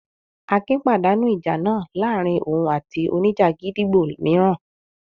Akin pàdánù ìjà náà láàárin òun àti oníjà gídígbò mìíràn.